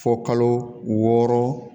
Fɔ kalo wɔɔrɔ